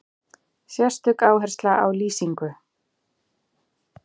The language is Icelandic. Sérstök áhersla á lýsingu.